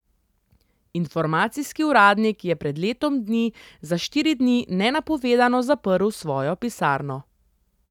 Informacijski uradnik je pred letom dni za štiri dni nenapovedano zaprl svojo pisarno.